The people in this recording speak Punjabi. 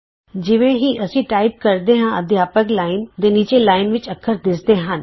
ਜਿਵੇਂ ਹੀ ਅਸੀਂ ਟਾਈਪ ਕਰਦੇ ਹਾਂ ਅਧਿਆਪਕ ਲਾਈਨ ਟੀਚਰਜ਼ ਲਾਈਨ ਦੇ ਨੀਚੇ ਲਾਈਨ ਵਿਚ ਅੱਖਰ ਦਿੱਸਦੇ ਹਨ